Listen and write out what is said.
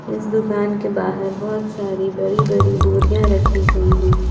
इस दुकान के बाहर बहुत सारी बड़ी बड़ी बोरियां रखी गई हैं।